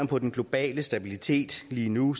på den globale stabilitet lige nu